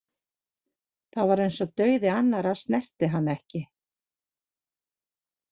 Það var eins og dauði annarra snerti hann ekki.